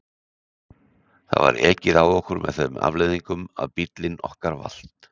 Það var ekið á okkur með þeim afleiðingum að bíllinn okkar valt.